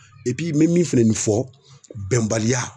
n be min fɛnɛ fɔ bɛnbaliya